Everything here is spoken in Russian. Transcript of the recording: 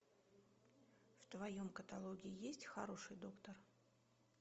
в твоем каталоге есть хороший доктор